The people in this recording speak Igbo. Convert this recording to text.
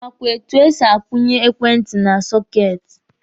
Ị makwa etu e si kwụnye ekwentị na sọketi?